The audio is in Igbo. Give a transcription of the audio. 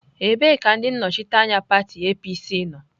Ebee ka ndị nnọchiteanya pati APC nọ?